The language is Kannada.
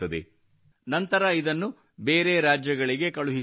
ನಂತರ ಇದನ್ನು ಬೇರೆ ರಾಜ್ಯಗಳಿಗೆ ಕಳುಹಿಸಲಾಗುತ್ತದೆ